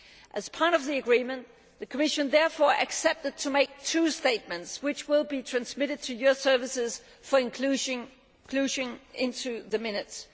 As part of the agreement, the Commission therefore agreed to make two statements, which will be transmitted to your services for inclusion in the minutes.